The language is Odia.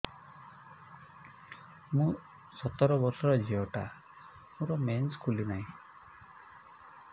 ମୁ ସତର ବର୍ଷର ଝିଅ ଟା ମୋର ମେନ୍ସେସ ଖୁଲି ନାହିଁ